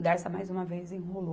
O Dersa mais uma vez enrolou.